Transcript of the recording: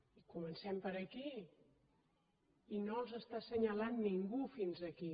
i comencem per aquí i no els està assenyalant ningú fins aquí